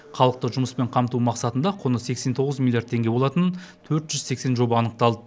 халықты жұмыспен қамту мақсатында құны сексен тоғыз миллиард теңге болатын төрт жүз сексен жоба анықталды